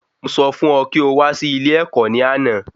Mo sọ fún ọ kí o wá sí ilé ẹ̀kọ́ ní àná